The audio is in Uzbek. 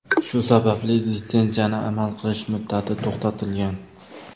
Shu sababli litsenziyaning amal qilish muddati to‘xtatilgan.